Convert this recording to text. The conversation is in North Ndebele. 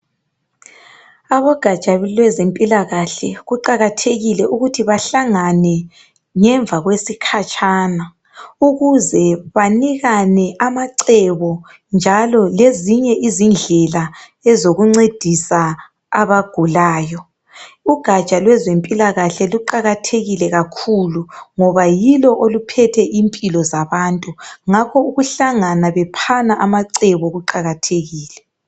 Abogaja lwezempilakahle kuqakathekile ukuthi bahlangane ngemva kwesikhatshana. Ukuze banikane amacebo njalo lezinye izindlela ezokuncedisa abagulayo. Ugaja lweze mpilakahle liqakathekile kakhulu ngoba yilo oluphethe impilo zabantu. Ngakho ukuhlangana bephana amacebo kuqakathekile.